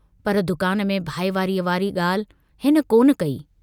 पर दुकान में भाईवारीअ वारी ॻाल्हि हिन कोन कई।